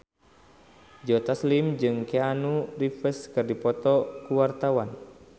Joe Taslim jeung Keanu Reeves keur dipoto ku wartawan